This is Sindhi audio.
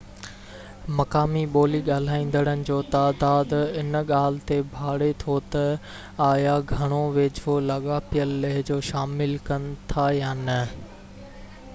مقامي ٻولي ڳالهائيندڙن جو تعداد ان ڳالهہ تي ڀاڙي ٿو تہ آيا گهڻو ويجهو لاڳاپيل لهجو شامل ڪن ٿا يا نہ